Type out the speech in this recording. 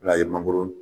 N'a ye mangoro